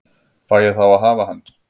Fæ ég þá að hafa hann?